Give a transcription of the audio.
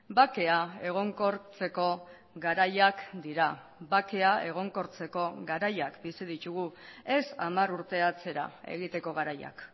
bakea egonkortzeko garaiak dira bakea egonkortzeko garaiak bizi ditugu ez hamar urte atzera egiteko garaiak